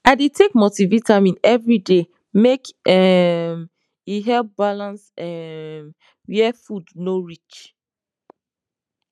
i dey take multivitamin every day make um e help balance um where food no reach